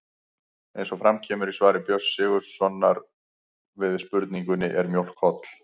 Eins og fram kemur í svari Björns Sigurðar Gunnarssonar við spurningunni Er mjólk holl?